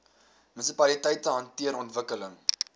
munisipaliteite hanteer ontwikkeling